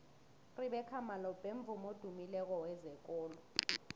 urebeca malope mvumi odumileko wezekolo